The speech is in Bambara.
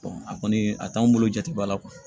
a kɔni a t'anw bolo jate ba la